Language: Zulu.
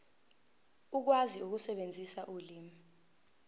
ukwazi ukusebenzisa ulimi